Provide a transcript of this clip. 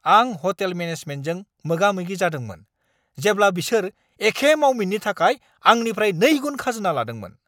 आं ह'टेल मेनेजमेन्टजों मोगा-मोगि जादोंमोन, जेब्ला बिसोर एखे मावमिननि थाखाय आंनिफ्राय नैगुन खाजोना लादोंमोन।